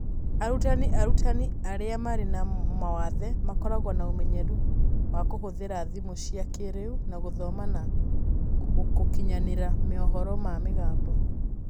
Arutani arutani arĩa marĩ na mawathe makoragwo na ũmenyeru wa kũhũthĩra thimũ cia kĩrĩu na gũthoma na gũkinyanĩria mohoro ma mĩgambo.